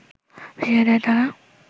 ফিরিয়ে দেয় তারা